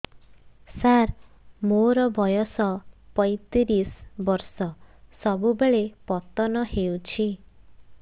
ସାର ମୋର ବୟସ ପୈତିରିଶ ବର୍ଷ ସବୁବେଳେ ପତନ ହେଉଛି